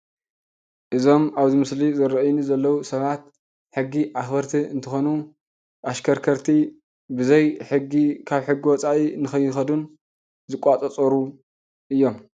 እዞም ኣብዚ ምስሊ ዝርኣዩኒ ዘለዉ ሰባት ሕጊ ኣኽበርቲ እንትኾኑ ኣሽከርከርቲ ብዘይ ሕጊ ካብ ሕጊ ወፃኢ ንኸይኸዱን ዝቆፃፀሩን እዮም።